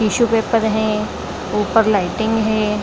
Tissue paper है ऊपर lighting है।